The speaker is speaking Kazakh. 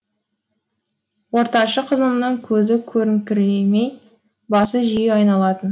ортаншы қызымның көзі көріңкіремей басы жиі айналатын